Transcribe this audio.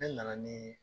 Ne nana nii